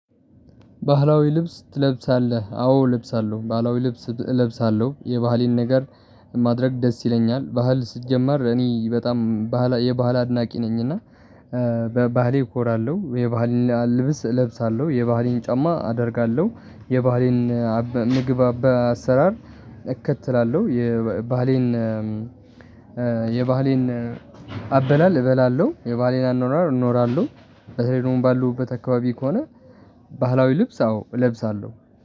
ባህላዊ ልብስ ትለብሳለህ። አዎ እለብሳለሁ። ባህላዊ ልብስ እለብሳለሁ። የባህሌን ነገር ማድረግ ደስ ይለኛል። ባህል ሲጀመር እኔ በጣም ባህላ የባህል አድናቂ ነኝ እና በባህሌ እኮራለሁ። የባህል ልብስ እለብሳለሁ። የባህል ጫማ አደርጋለሁ። የባህሌን ምግብ አሰራር እከትላለሁ። የባህሌን አም የባህሌን አበላል እበላለሁ። የባህሌን አኖኗር እኖራለሁ። በተለይ ደግሞ ባለሁበት አከባቢ ከሆነ ባህላዊ ልብስ አዎ እለብሳሁ።